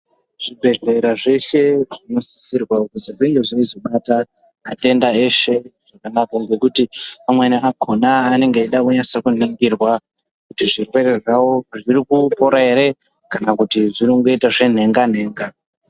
Zvibhedhlera zveshe zvinosisirwa kuzwi zvinge zveizobata atenda eshe, zvakanaka ngekuti amweni akhona, anenge eida kunase kuningirwa kuti zvirwere zvavo zviri kupora ere kana kuti zviri kuita zvenhenga- nhenga.